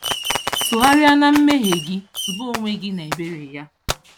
Tụgharịa na mmehie gị, tụba onwe gị na ebere Ya.